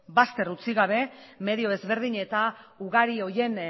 bazter utzi gabe medio ezberdin eta ugari horiek